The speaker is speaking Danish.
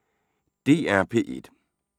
DR P1